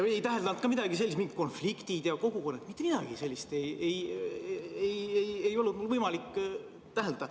Ei täheldanud ka midagi sellist, et oleks olnud mingid konfliktid ja kogukonnad, mitte midagi sellist ei olnud mul võimalik täheldada.